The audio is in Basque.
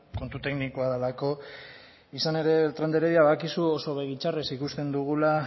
kontu teknikoa delako izan ere beltran de heredia badakizu oso begi txarrez ikusten dugula